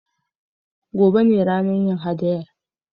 Gobe ne za a yi haɗayan